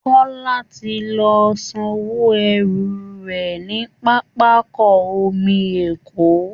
Kọ́lá ti lọ sanwó ẹrù rẹ̀ ní pápákọ omi Èkó